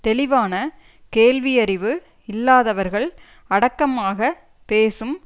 தெளிவான கேள்வியறிவு இல்லாதவர்கள் அடக்கமாக பேசும்